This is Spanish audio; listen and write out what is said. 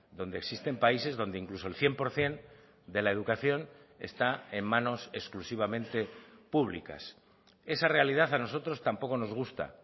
donde existen países donde incluso el cien por ciento de la educación está en manos exclusivamente públicas esa realidad a nosotros tampoco nos gusta